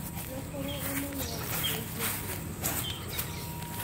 na kũrũgama no gũteithie kũmenya thĩna